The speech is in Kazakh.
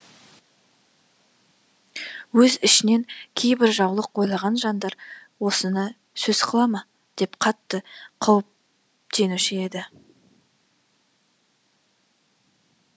өз ішінен кейбір жаулық ойлаған жандар осыны сөз қыла ма деп қатты қауіптенуші еді